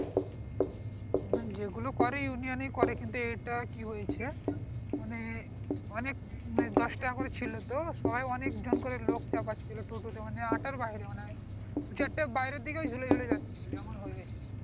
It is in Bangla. না যে গুলো করে union এ করে কিন্তু এটা কি হয়েছে মানে অনেক দশ টাকা করে ছিলো তো সবাই অনেক জন করে লোক চাপাচ্ছিলো আটার বাহিরে মনে হয় যেটা বাহিরে দিকে ঝুলে ঝুলে যাচ্ছে কেমন হল এটা